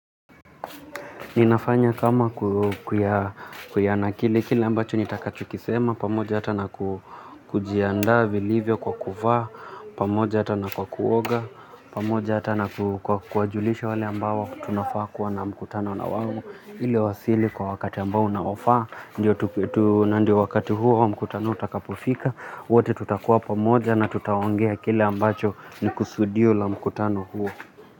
Ninafanya kama ku kuyana kili kile ambacho nitakachokisema, pamoja hata na kujiandaa vilivyo kwa kuvaa, pamoja hata na kwa kuoga, pamoja hata na ku kwa kuwajulisha wale ambao tunafaa kuwa na mkutano na wao, ili wawasili kwa wakati ambao unaofaa, nandio wakati huo wa mkutano utakapofika, wote tutakuwa pamoja na tutaongea kile ambacho ni kusudio la mkutano huo.